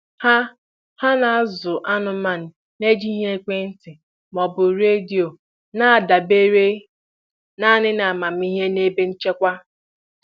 Ha Ha na-azụ anụmanụ na-ejighị ekwentị ma ọ bụ redio, na-adabere naanị n'amamihe na ebe nchekwa.